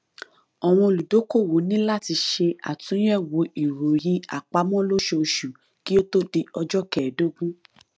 àwọn olùdókòwò ní láti ṣe àtúnyẹwò ìròyìn àpamọ lóṣooṣù kí ó tó di ọjọ kẹèdógún